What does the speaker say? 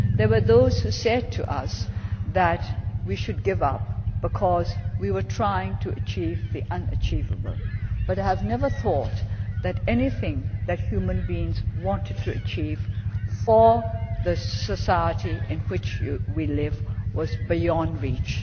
There were those who told us that we should give up because we were trying to achieve the unachievable, but I have never thought that anything that human beings wanted to achieve for the society in which we live was beyond reach.